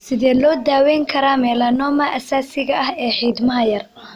Sidee loo daweyn karaa melanoma asaasiga ah ee xiidmaha yar?